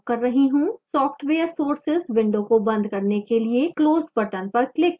software sources window को बंद करने के लिए close button पर click करें